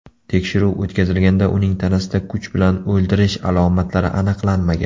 Tekshiruv o‘tkazilganda uning tanasida kuch bilan o‘ldirish alomatlari aniqlanmagan.